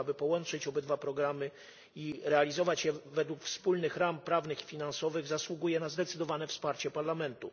r., aby połączyć obydwa programy i realizować je według wspólnych ram prawnych i finansowych, zasługuje na zdecydowane wsparcie Parlamentu.